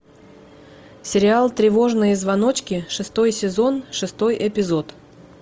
сериал тревожные звоночки шестой сезон шестой эпизод